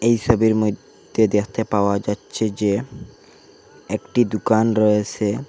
এসবের মইদ্যে দেখতে পাওয়া যাচ্ছে যে একটি দুকান রয়েসে ।